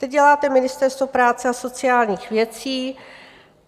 Teď děláte Ministerstvo práce a sociálních věcí.